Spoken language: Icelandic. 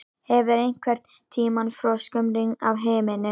Hefur einhverntíma froskum rignt af himninum?